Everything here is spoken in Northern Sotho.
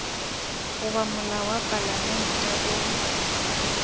goba molao wa palamente o